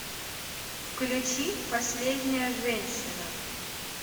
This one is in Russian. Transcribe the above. включи последняя женщина